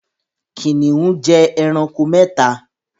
Kìnìún jẹ ẹranko mẹ́ta